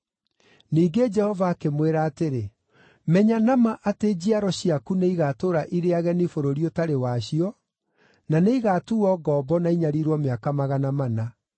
Ningĩ Jehova akĩmwĩra atĩrĩ, “Menya na ma atĩ njiaro ciaku nĩigatũũra irĩ ageni bũrũri ũtarĩ wacio, na nĩigatuuo ngombo na inyariirwo mĩaka magana mana.